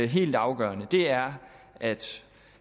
helt afgørende er at